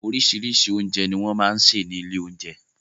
Oríṣiríṣi oúnjẹ ní wọ́n máa ń ṣe ní ilé oúnjẹ